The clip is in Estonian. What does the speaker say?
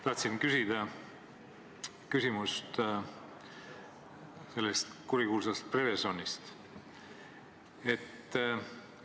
Tahtsin küsida selle kurikuulsa Prevezoni kohta.